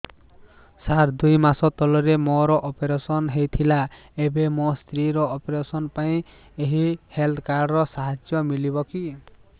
ସାର ଦୁଇ ମାସ ତଳରେ ମୋର ଅପେରସନ ହୈ ଥିଲା ଏବେ ମୋ ସ୍ତ୍ରୀ ର ଅପେରସନ ପାଇଁ ଏହି ହେଲ୍ଥ କାର୍ଡ ର ସାହାଯ୍ୟ ମିଳିବ କି